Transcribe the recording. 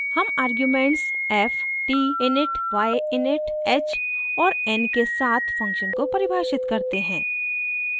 हम arguments f t init y init h और n के साथ फंक्शन को परिभाषित करते हैं